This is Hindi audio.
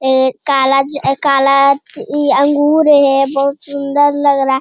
ए काला ज काला ई अंगूर है बहोत सुंदर लग रहा --